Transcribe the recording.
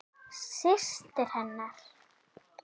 Systir hennar?